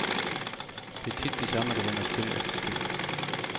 Det er tit de samme, der vinder spil efter spil.